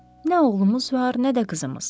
Nə oğlumuz var, nə də qızımız.